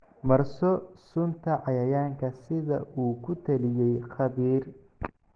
Marso sunta cayayaanka sida uu ku taliyey khabiir.